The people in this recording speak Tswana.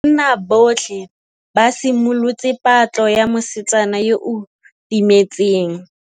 Banna botlhê ba simolotse patlô ya mosetsana yo o timetseng.